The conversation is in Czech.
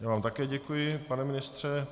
Já vám také děkuji, pane ministře.